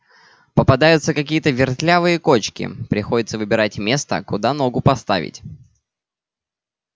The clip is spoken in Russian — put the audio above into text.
попадаются какие-то вертлявые кочки приходится выбирать место куда ногу поставить